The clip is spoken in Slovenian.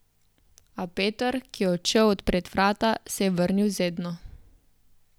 A Peter, ki je odšel odpret vrata, se je vrnil z Edno.